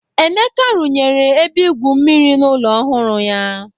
Emeka a-arunye ebe igu mmiri n'ụlọ ọhụrụ ya.